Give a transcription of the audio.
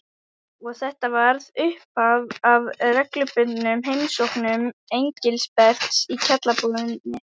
Og þetta varð upphaf að reglubundnum heimsóknum Engilberts í kjallaraíbúðina.